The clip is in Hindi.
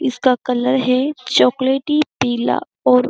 इसका कलर है चोकोलेटी पीला और --